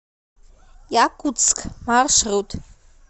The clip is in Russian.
якутск маршрут